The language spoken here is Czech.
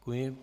Děkuji.